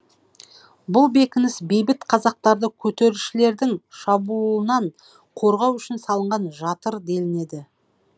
бұл бекініс бейбіт қазақтарды көтерілісшілердің шабуылынан қорғау үшін жатыр делінеді